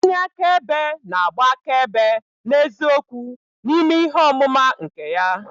Onye akaebe na-agba akaebe n'eziokwu n'ime ihe ọmụma nke ya.